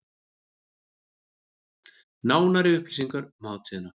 Nánari upplýsingar um hátíðina